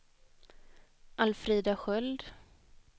Alfrida Sköld